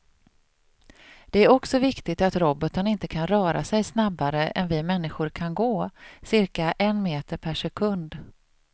Det är också viktigt att roboten inte kan röra sig snabbare än vi människor kan gå, cirka en meter per sekund.